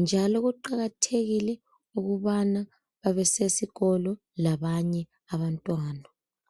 njalo kuqakathekile ukubana babesesikolo labanye abantwana.